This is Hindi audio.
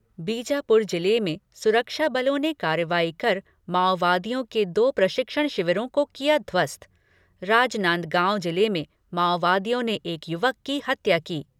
बीजापुर जिले में सुरक्षा बलों ने कार्रवाई कर माओवादियों के दो प्रशिक्षण शिविरों को किया ध्वस्त राजनांदगांव जिले में माओवादियों ने एक युवक की हत्या की।